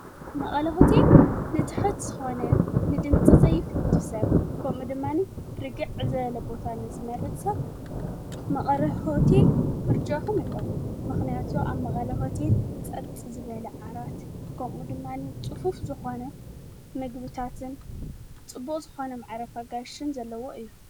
መቐለ ሆቴል ንቲሕት ዝኾነ ንድምፂ ዘይፈቱ ሰብ ከምድማኒ ርግዕ ዝበለ ቦታን ዘመርጽ ጸብ መቐረህሆቲ ኢል ምርጭኹም ይኹት ምኽንያቱ ኣብ መቐለ ሆቴል ፀጥ ዝበለ ዓራት ከሚ ድማኒ ፅፉፍ ዝኾነ ምግብታትን ፅቡቅ ዝኾነ መዕረፋ ኣጋይሽን ዘለዎ እዩ።